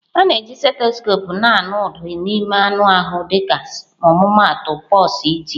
A na-eji stethoskope na-anụ ụda n'ime ahụ mmadụ dịka ọmụmaatụ pulse iti.